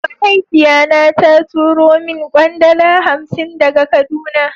Mahaifiya na ta turo min kwandala hansi daga kaduna.